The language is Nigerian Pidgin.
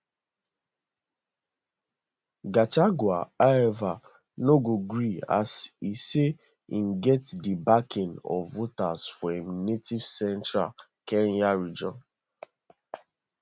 gachagua however no gree as e say im get di backing of voters for im native central kenya region